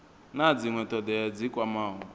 na dzinwe thodea dzi kwamaho